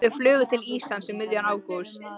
Þau flugu til Íslands um miðjan ágúst.